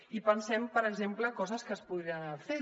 i pensem per exemple coses que es podrien haver fet